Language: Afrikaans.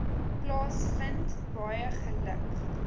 plaasvind baie geluk